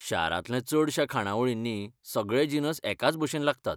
शारांतल्या चडशा खाणावळींनी, सगळे जिनस एकाचभशेन लागतात.